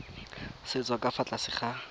setso ka fa tlase ga